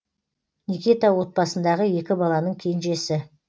никита отбасындағы екі баланың кенжесі